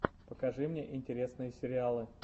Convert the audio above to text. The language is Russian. покажи мне интересные сериалы